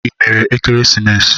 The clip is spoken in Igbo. Ị mere ekeresimesi?